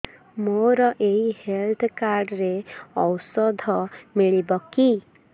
ମୋର ଏଇ health card ରେ ଔଷଧ ମିଳିବ କି